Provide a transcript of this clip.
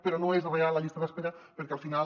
però no és real la llista d’espera perquè al final